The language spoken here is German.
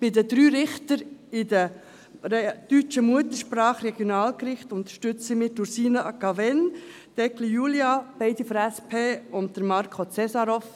Bei den drei Richtern deutscher Muttersprache für die Regionalgerichte unterstützen wir Ursina Cavegn, Julia Eggli – beide von der SP – und Marko Cesarov.